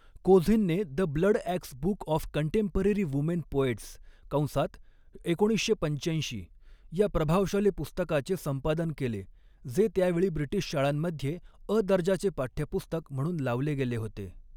कोझिनने the Bloodaxe book of contemporary women poets कंसात एकोणीसशे पंचाऐंशी, या प्रभावशाली पुस्तकाचे संपादन केले, जे त्या वेळी ब्रिटीश शाळांमध्ये अ दर्जाचे पाठ्यपुस्तक म्हणून लावले गेले होते.